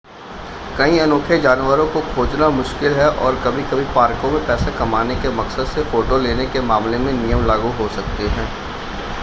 कई अनोखे जानवरों को खोजना मुश्किल है और कभी-कभी पार्कों में पैसे कमाने के मकसद से फ़ोटो लेने के मामले में नियम लागू हो सकते हैं